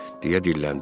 deyə dilləndim.